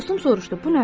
Dostum soruşdu: bu nədir?